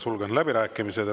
Sulgen läbirääkimised.